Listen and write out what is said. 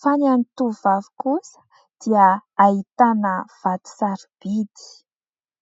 fa ny an'ny tovovavy kosa dia ahitana vato sarobidy.